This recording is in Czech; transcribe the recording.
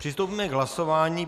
Přistoupíme k hlasování.